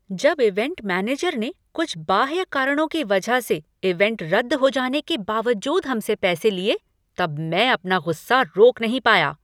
जब event manager ने कुछ बाह्य कारणों की वजह से इवेंट रद्द हो जाने के बावजूद हम से पैसे लिए तब मैं अपना गुस्सा रोक नहीं पाया।